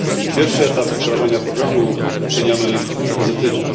Pierwszy etap wdrażania programu oceniamy pozytywnie.